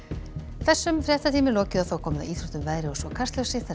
þessum fréttatíma er lokið og komið að íþróttum veðri og svo Kastljósi þar